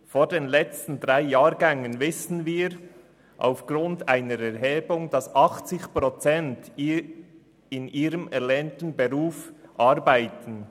Von den letzten drei Jahrgängen wissen wir aufgrund einer Erhebung, dass 80 Prozent in ihrem erlernten Beruf arbeiten.